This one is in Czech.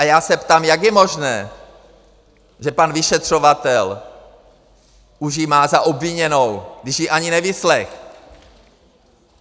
A já se ptám: Jak je možné, že pan vyšetřovatel už ji má za obviněnou, když ji ani nevyslechl?